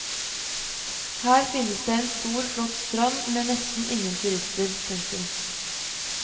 Her finnes det en stor flott strand med nesten ingen turister. punktum